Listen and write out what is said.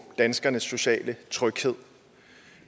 danskernes sociale tryghed